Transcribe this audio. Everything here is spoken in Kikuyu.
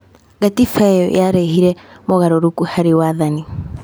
Gatiba ĩyo yarehire mogarũrũku harĩ wathani.